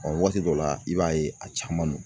waati dɔ la i b'a ye a caman no.